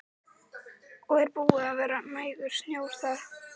Hjördís: Og er búið að vera nægur snjór þar?